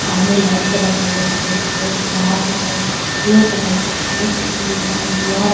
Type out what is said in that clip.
आ ओ में लाइट जलत हवे सफ़ेद-सफ़ेद बाहर के तरफ गेट लउकत हउवे जोकि एक दम उजिआर --